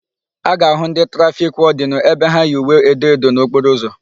A ga-áhụ̀ ndị trafiki wọdịnụ ebe ha yi uwe edo edo n'okporo ụzọ.